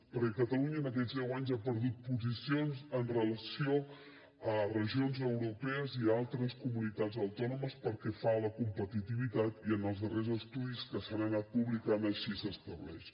perquè catalunya en aquests deu anys ha perdut posicions amb relació a regions europees i a altres comunitats autònomes pel que fa a la competitivitat i en els darrers estudis que s’han anat publicant així s’estableix